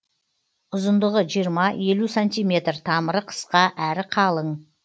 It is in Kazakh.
ұзындығы жиырма елу сантиметр тамыры қысқа әрі қалың